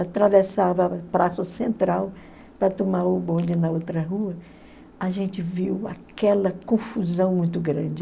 atravessava a Praça Central para tomar o bonde na outra rua, a gente viu aquela confusão muito grande.